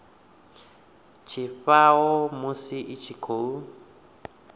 tshifhao musi i tshi khou